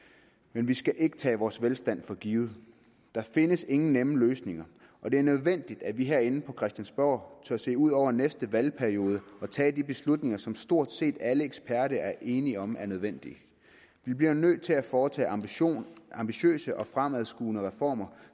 men vi skal ikke tage vores velstand for givet der findes ingen nemme løsninger og det er nødvendigt at vi herinde på christiansborg tør se ud over næste valgperiode og tage de beslutninger som stort set alle eksperter er enige om er nødvendige vi bliver nødt til at foretage ambitiøse og fremadskuende reformer